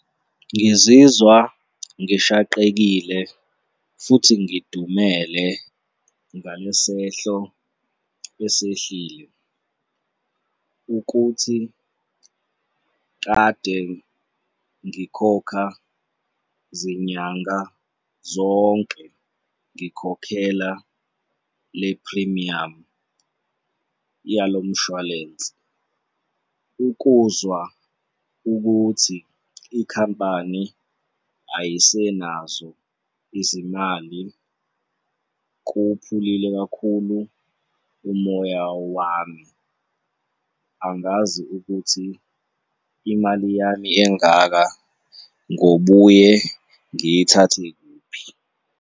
Ngizizwa ngishaqekile futhi ngidumele ngale sehlo esehlile ukuthi kade ngikhokha zinyanga zonke, ngikhokhela le phrimiyamu yalo mshwalense, ukuzwa ukuthi ikhampani ayisenazo izimali kuwuphulile kakhulu umoya wami, angazi ukuthi imali yami engaka ngobuye ngiyithathe kuphi.